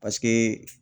Paseke